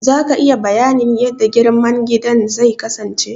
Za ka iya bayanin yanda girman gidan zai kasance?